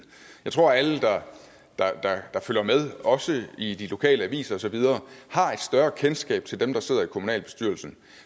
jeg tror at alle der følger med også i de lokale aviser og så videre har et større kendskab til dem der sidder i kommunalbestyrelsen